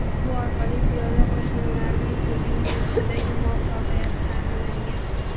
Bu orqali piyoda qo‘shinlarning hujumga o‘tishidagi muvaffaqiyatini ta’minlagan.